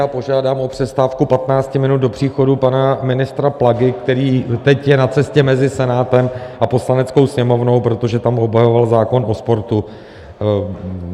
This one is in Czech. Já požádám o přestávku 15 minut do příchodu pana ministra Plagy, který teď je na cestě mezi Senátem a Poslaneckou sněmovnou, protože tam obhajoval zákon o sportu.